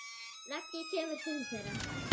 Raggi kemur til þeirra.